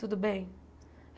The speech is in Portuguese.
Tudo bem?